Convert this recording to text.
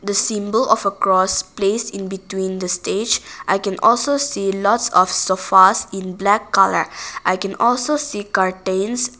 symbol of a cross placed in between the stage i can also see lots of sofas in black colour i can also see curtains.